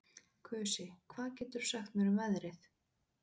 Kusi, hvað geturðu sagt mér um veðrið?